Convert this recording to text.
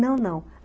Não, não.